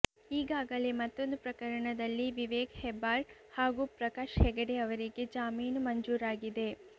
ಈಗಾಗಲೇ ಮತ್ತೊಂದು ಪ್ರಕರಣದಲ್ಲಿ ವಿವೇಕ್ ಹೆಬ್ಬಾರ್ ಹಾಗೂ ಪ್ರಕಾಶ್ ಹೆಗಡೆ ಅವರಿಗೆ ಜಾಮೀನು ಮಂಜೂರಾಗಿದೆ